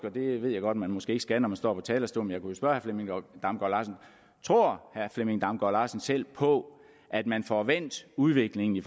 og det ved jeg godt at man måske ikke skal når man står talerstolen tror herre flemming damgaard larsen selv på at man får vendt udviklingen i